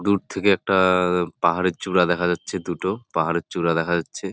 দূর থাকে একটা-টা-টা পাহাড়ের চূড়া দেখা যাচ্ছে দুটো পাহাড়ে চূড়া দেখা যাচ্ছে ।